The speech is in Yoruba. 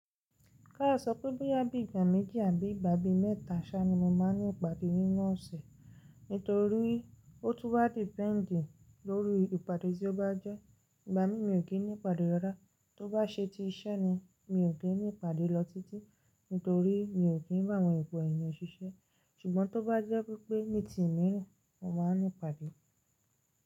Ká a sọ pé bóyá bí ìgbà méjì àbí ìgbà bí mẹ́ta ṣá ni mo máa n ní ìpàdé nínú ọ̀sẹ̀. Nítorí ó tún wá dependì lóri ìpàdé tí ó bá jẹ́. Ìgbà mí, mi ò kí n ní ìpàdé rárá. Tó bá ṣe ti iṣẹ́ ni, mi ò kí n ní ìpàdé lọ títí, nítorí mi ò kí n bá àwọn opo èèyàn ṣiṣẹ́. Ṣùgbọ́n tó bá jẹ́ wípé nítì mí, mo máa n ní ìpàdé.